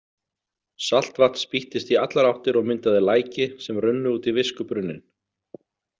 Saltvatn spýttist í allar áttir og myndaði læki sem runnu út í viskubrunninn.